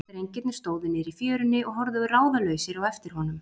Drengirnir stóðu niðri í fjörunni og horfðu ráðalausir á eftir honum.